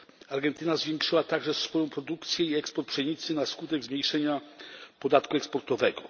Argentyna zwiększyła także swoją produkcję i eksport pszenicy na skutek zmniejszenia podatku eksportowego.